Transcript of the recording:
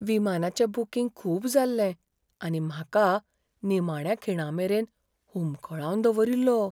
विमानाचें booking खूब जाल्लें आनी म्हाका निमाण्या खिणामेरेन हुमकळावन दवरिल्लो .